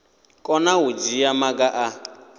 kona u dzhia maga a